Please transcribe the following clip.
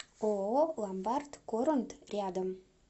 ооо ломбард корунд рядом